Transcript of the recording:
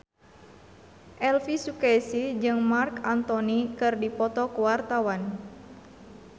Elvy Sukaesih jeung Marc Anthony keur dipoto ku wartawan